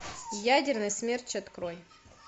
ядерный смерч открой